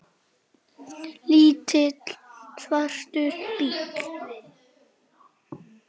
Lítill, svartur bíll.